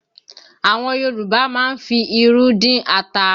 Àwọn Yorùbá máa ń fi irú dín ata